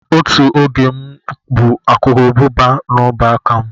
Otu oge m bu urukurubụba n'ọbụ aka m.